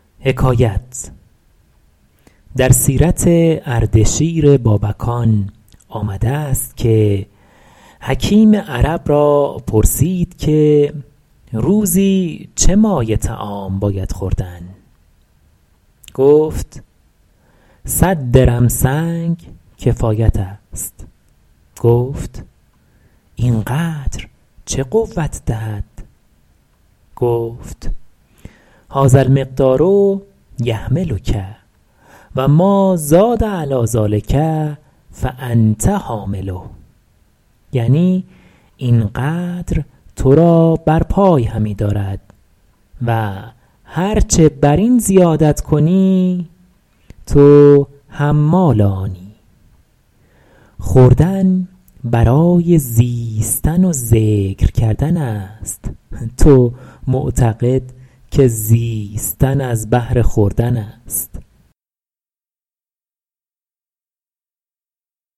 در سیرت اردشیر بابکان آمده است که حکیم عرب را پرسید که روزی چه مایه طعام باید خوردن گفت صد درم سنگ کفایت است گفت این قدر چه قوت دهد گفت هٰذا المقدار یحملک و مٰازاد علیٰ ذٰلک فانت حامله یعنی این قدر تو را بر پای همی دارد و هر چه بر این زیادت کنی تو حمال آنی خوردن برای زیستن و ذکر کردن است تو معتقد که زیستن از بهر خوردن است